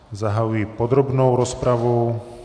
Zahajuji podrobnou rozpravu.